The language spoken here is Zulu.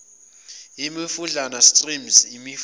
imifudlana streams imifula